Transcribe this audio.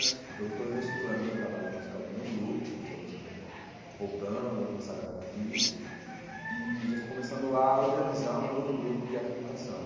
Ãh então, eu estou reestruturando o meu trabalho musical do meu grupo, que nós estamos re ãh voltando, vamos começar a gravar disco, e já estou começando a organizar um novo grupo de arte e educação.